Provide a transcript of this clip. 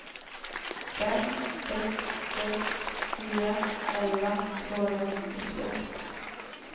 fem sex sex fyra elva tvåhundranittiotvå